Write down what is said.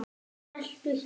Smelltu hér.